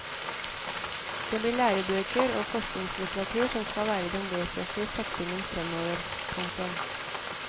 Det blir lærebøker og forskningslitteratur som skal være den vesentligste satsingen fremover. punktum